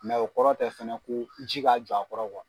o kɔrɔ tɛ fɛnɛ ko ji ka jɔ a kɔrɔ .